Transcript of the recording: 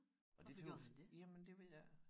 Og det tøs jamen det ved jeg ikke